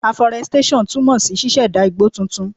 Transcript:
Aforestation túmọ̀ sí ṣíṣẹ̀dá igbó titun.